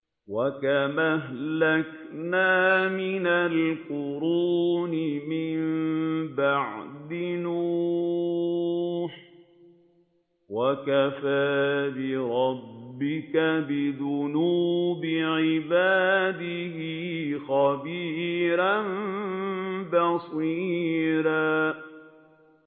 وَكَمْ أَهْلَكْنَا مِنَ الْقُرُونِ مِن بَعْدِ نُوحٍ ۗ وَكَفَىٰ بِرَبِّكَ بِذُنُوبِ عِبَادِهِ خَبِيرًا بَصِيرًا